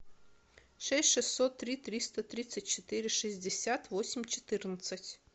шесть шестьсот три триста тридцать четыре шестьдесят восемь четырнадцать